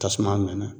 Tasuma nana